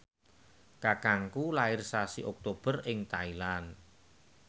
kakangku lair sasi Oktober ing Thailand